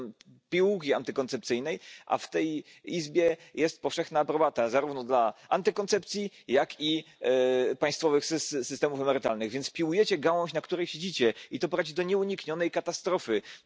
Señora presidenta, desde el Libro Blanco de las Pensiones hasta el producto paneuropeo de pensiones privadas todas las medidas de la Comisión han ido encaminadas a desmantelar el sistema público de pensiones. No digan que las pensiones no son sostenibles, es más, es que las pensiones son imprescindibles para sostener la vida.